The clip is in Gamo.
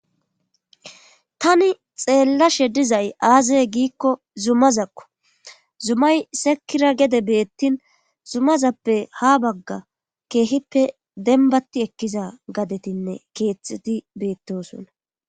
Tani xeellashe dizay aazay giikko zumazakko zumay sekira gede beettin zumazappe ha bagga keehippe denbatti ekkiza gadetinne keexeti beettosona.